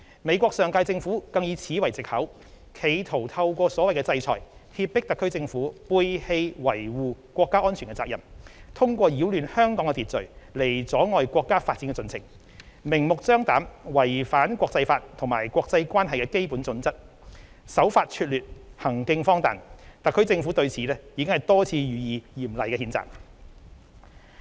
美國上屆政府更以此為藉口，企圖透過所謂"制裁"脅迫特區政府背棄維護國家安全的責任，通過擾亂香港的秩序來阻礙國家發展的進程，明目張膽違反國際法及國際關係基本準則，手法拙劣，行徑荒唐，特區政府對此已多次予以嚴厲譴責。